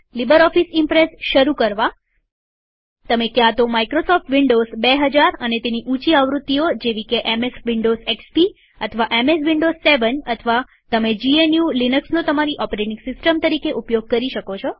LibreOffice Impress શરુ કરવા તમે ક્યાં તો માઈક્રોસોફ્ટ વિન્ડોઝ ૨૦૦૦ અને તેની ઊંચી આવૃત્તિઓ જેવી કે એમએસ વિન્ડોઝ એક્સપી અથવા એમએસ વિન્ડોવ્સ 7 અથવા તમે જીએનયુ લિનક્સનો તમારી ઓપરેટિંગ સિસ્ટમ તરીકે ઉપયોગ કરી શકો